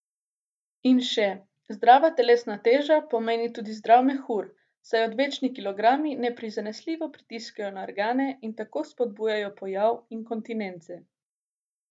In še, zdrava telesna teža pomeni tudi zdrav mehur, saj odvečni kilogrami neprizanesljivo pritiskajo na organe in tako spodbujajo pojav inkontinence.